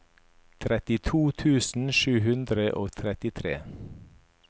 trettito tusen sju hundre og trettitre